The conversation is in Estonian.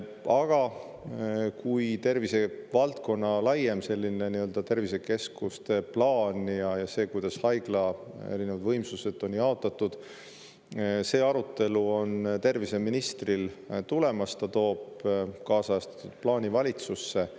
Aga tervisevaldkonna laiema plaani, sellise tervisekeskuste plaani ja selle, kuidas haiglate erinevad võimsused on jaotatud, see arutelu on terviseministri tulemas, ta toob kaasajastatud plaani valitsusse.